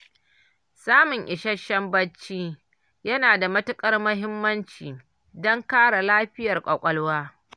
Samun isasshen bacci yana da matuƙar muhimmanci, don kare lafiyar ƙwaƙwalwa.